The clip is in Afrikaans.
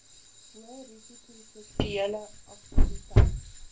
hoërisiko seksuele aktiwiteit